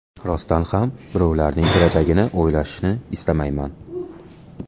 Rostdan ham birovlarning kelajagini o‘ylashni istamayman.